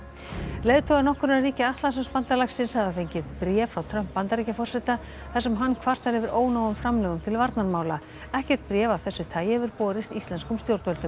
leiðtogar nokkurra ríkja Atlantshafsbandalagsins hafa fengið bréf frá Trump Bandaríkjaforseta þar sem hann kvartar yfir ónógum framlögum ríkjanna til varnarmála ekkert bréf af þessu tagi hefur borist íslenskum stjórnvöldum